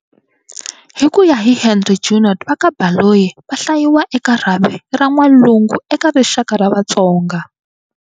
Hi ku ya hi Henri Junod va ka Baloyi, va hlayiwa eka rhavi ra Va N'walungu eka rixaka ra Vatsonga.